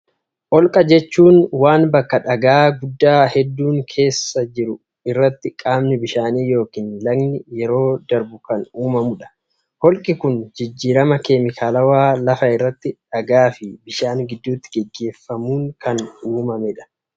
olqa jechuun waan bakka dhagaa guddaa hedduun keessa jiru irratti qaamni bishaanii yokin lagni yeroo darbu kan uumamuu dha. Holqi kun jijjirama keemikaalawaa lafa irratti dhagaa fi bishaan gidduutti gaggeeffamuun kan uumamee dha.